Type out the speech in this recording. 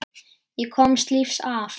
Og komist lífs af.